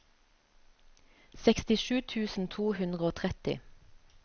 sekstisju tusen to hundre og tretti